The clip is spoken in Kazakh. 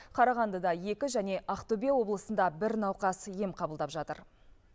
қарағандыда екі және ақтөбе облысында бір науқас ем қабылдап жатыр